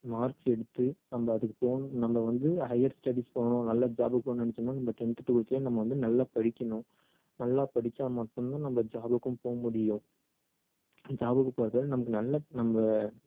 marks எடுத்து நம்ம அதுக்கு போகணும் நம்ம வந்து higher studies போகணும் நல்ல job க்கு போகணும்னு நினைச்சோம்னா நம்ம tenth twelveth ல நம்ம வந்து நல்லா படிக்கணும் நல்லா படிச்சா மட்டும் தான் நம்ம job க்கும் போக முடியும் job க்கு போறதால நமக்கு நல்ல நம்ம